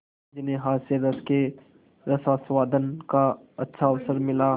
जिन्हें हास्यरस के रसास्वादन का अच्छा अवसर मिला